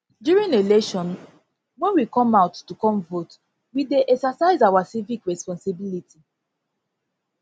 during election when we come out to come vote we dey exercise our civic responsibility civic responsibility